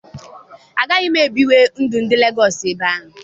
Agaghị m aga biwe ndụ ndị Lagọs ebe ahụ.